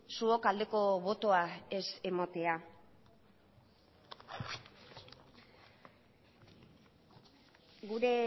zuok aldeko botoa ez ematea gure